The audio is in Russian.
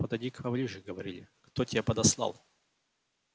подойди-ка поближе говори кто тебя подослал